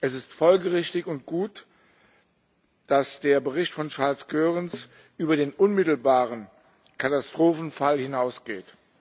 Es ist folgerichtig und gut, dass der Bericht von Charles Goerens über den unmittelbaren Katastrophenfall hinausgeht.